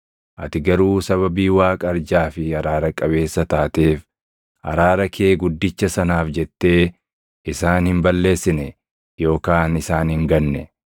Ati garuu sababii Waaqa arjaa fi araara qabeessa taateef, araara kee guddicha sanaaf jettee isaan hin balleessine yookaan isaan hin ganne.